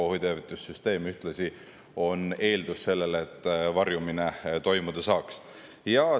Ohuteavitussüsteem on ühtlasi eeldus sellele, et varjumine toimuda saaks.